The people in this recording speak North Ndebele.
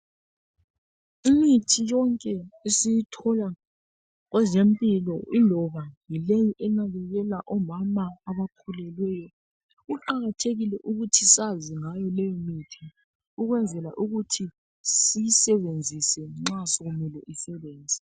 imithi yonke esiyithola kwezempilo iloba yileyi elamulela omama abakhulelweyo kuqakathekile ukuthi sazi ngayo leyo mithi ukwenzela ukuthi siyisebenzise nxa sekumele isebenze